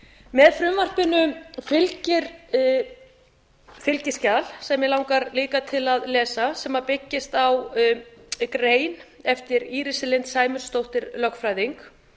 með frumvarpinu fylgir fylgiskjal sem mig langar líka til að lesa sem byggist á grein eftir írisi lind sæmundsdóttur lögfræðing